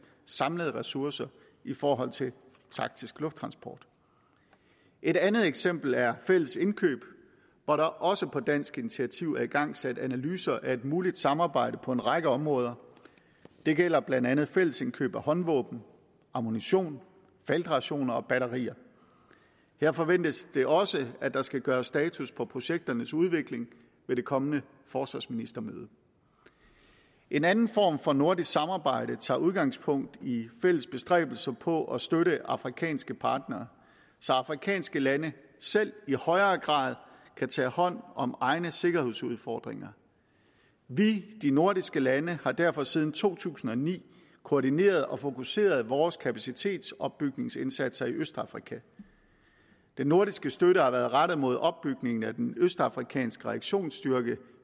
samlede ressourcer i forhold til taktisk lufttransport et andet eksempel er fælles indkøb hvor der også på dansk initiativ er igangsat analyser af et muligt samarbejde på en række områder det gælder blandt andet fælles indkøb af håndvåben ammunition feltrationer og batterier her forventes det også at der skal gøres status på projekternes udvikling ved det kommende forsvarsministermøde en anden form for nordisk samarbejde tager udgangspunkt i fælles bestræbelser på at støtte afrikanske partnere så afrikanske lande selv i højere grad kan tage hånd om egne sikkerhedsudfordringer vi de nordiske lande har derfor siden to tusind og ni koordineret og fokuseret vores kapacitetsopbygningsindsatser i østafrika den nordiske støtte har været rettet mod opbygningen af den østafrikanske reaktionsstyrke